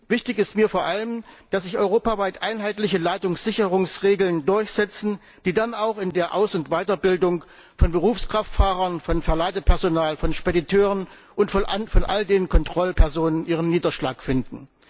Wichtig ist mir vor allem, dass sich europaweit einheitliche Ladungssicherungsregeln durchsetzen, die dann auch in der Aus und Weiterbildung von Berufskraftfahrern, von Verladepersonal, von Spediteuren und von all den Kontrollpersonen ihren Niederschlag finden.